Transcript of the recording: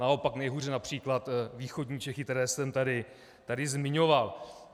Naopak nejhůře například východní Čechy, které jsem tady zmiňoval.